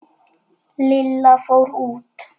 Lilla fór út.